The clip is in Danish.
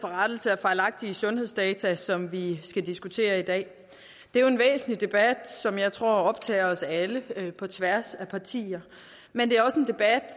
for rettelse af fejlagtige sundhedsdata som vi skal diskutere i dag det er jo en væsentlig debat som jeg tror optager os alle på tværs af partier men det